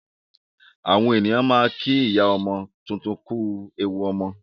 Àwọn èèyàn máa ń kí ìyá ọmọ tuntun kú ewu ọmọ